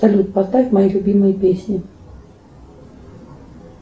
салют поставь мои любимые песни